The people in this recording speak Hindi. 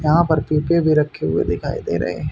यहां पर पीपे भी रखे हुए दिखाई दे रहे--